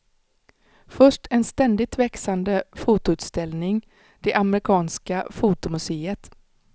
Först en ständigt växande fotoutställning, det amerikanska fotomuseet.